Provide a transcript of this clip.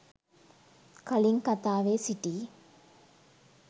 කලින් කතාවේ සිටි